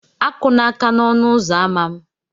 Akụla aka n'ọnụ ụzọ ámá m!